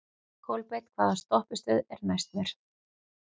Kolbeinn, hvaða stoppistöð er næst mér?